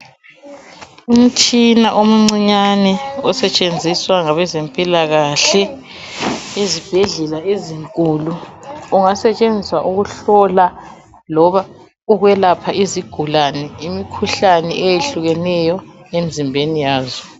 Umtshina omncinyane osetshenziswa ngabezempilakahle ezibhedlela ezinkulu .Ungasetshenziswa ukuhlola loba ukwelapha izigulane imikhuhlane eyehlukeneyo emzimbeni yazo .